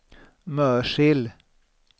Mörsil